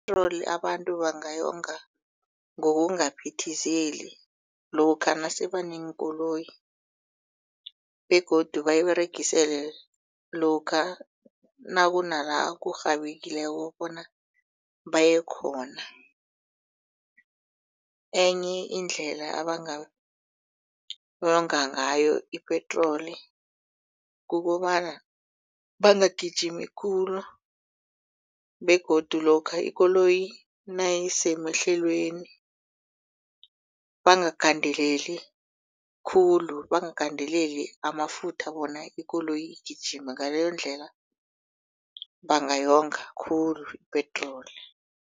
Ipetroli abantu bangayonga ngokungaphithizeli lokha nase baneenkoloyi begodu bayiberegisele lokha nakunala kurhabileko bona bayekhona enye indlela abangayonga ngayo ipetroli kukobana bangagijimi khulu begodu lokha ikoloyi nayisemehlelweni bangagandeleli khulu bangagandeleli amafutha bona ikoloyi igijime ngaleyondlela bangayonga khulu ipetroli.